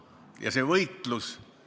Ja see võitlus!